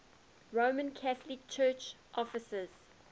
roman catholic church offices